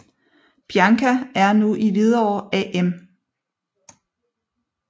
Bianca er nu i Hvidovre AM